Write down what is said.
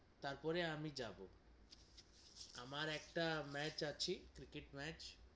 তার পরে আমি যাবো আমার একটা match আছে, ক্রিকেট match